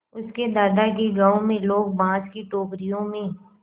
उसके दादा के गाँव में लोग बाँस की टोकरियों में